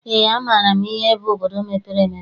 Eé, amaara m ihe bụ obodo mepere emepe.